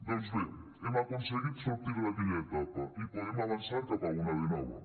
doncs bé hem aconseguit sortir d’aquella etapa i podem avançar cap a una de nova